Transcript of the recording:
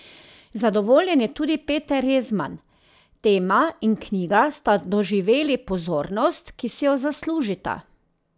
Zadovoljen je tudi Peter Rezman: "Tema in knjiga sta doživeli pozornost, ki si jo zaslužita.